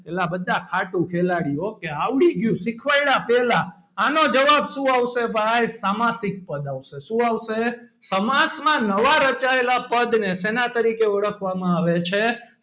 અલ્યાં બધાં ખાટું ખેલાડી હો કે આવડી ગયું સીખ્વાડ્યા પહેલાં આનો જવાબ શું આવશે ભાઈ સામાસિક પદ આવશે શું આવશે? સમાસમાં નવા રચાયેલાં પદ ને શેનાં તરીકે ઓળખવામાં આવે છે.